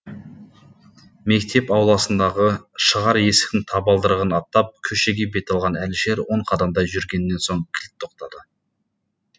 мектеп ауласындағы шығар есіктің табалдырығын аттап көшеге бет алған әлішер он қадамдай жүргеннен соң кілт тоқтады